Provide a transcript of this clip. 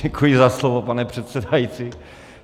Děkuji za slovo, pane předsedající.